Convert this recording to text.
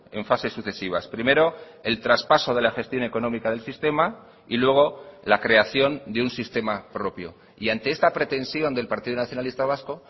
en fases sucesivas primero el traspaso de la gestión económica del sistema y luego la creación de un sistema propio y ante esta pretensión del partido nacionalista vasco